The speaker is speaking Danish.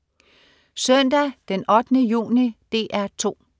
Søndag den 8. juni - DR 2: